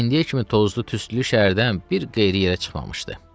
İndiyə kimi tozlu, tüstülü şəhərdən bir qeyri yerə çıxmamışdı.